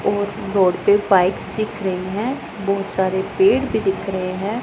और रोड पे बाइक्स दिख रही हैं बहुत सारे पेड़ भी दिख रहे हैं।